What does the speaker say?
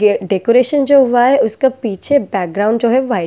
ये डेकोरेशन जो हुआ है उसका पीछे बैकग्राउंड जो है व्हाइट --